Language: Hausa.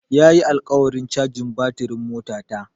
Ya yi alƙawarin cajin batirin motata.